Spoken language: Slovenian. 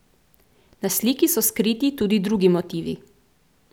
Na sliki so skriti tudi drugi motivi.